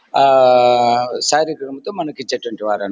ఆహ్ అమ్ముతే మనకు ఇచ్చేవారు అన్నమాట.